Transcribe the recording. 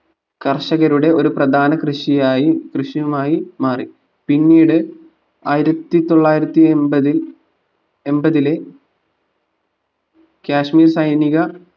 കർഷകരുടെ ഒരു പ്രധാന കൃഷിയായി കൃഷിയുമായി മാറി പിന്നീട് ആയിരത്തിത്തൊള്ളായിരത്തി എമ്പതിൽ എമ്പതിലെ കാശ്മീർ സൈനിക